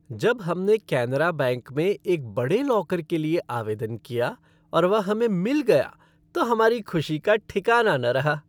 जब हमने केनरा बैंक में एक बड़े लॉकर के लिए आवेदन किया और वह हमें मिला गया तो हमारी खुशी का ठिकाना न रहा।